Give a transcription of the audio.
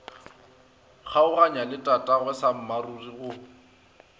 kgaoganya le tatagwe sammaruri go